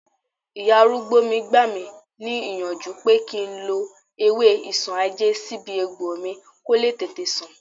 Ìyá arúgbó mi gbà mí níyànjú pé kí n lo ewé isanaje sí ibi egbò mi ko le tètè san